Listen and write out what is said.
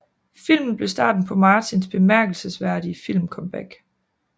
Filmen blev starten på Martins bemærkelsesværdige filmcomeback